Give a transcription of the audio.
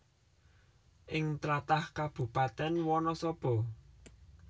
Ing tlatah Kabupatèn Wanasaba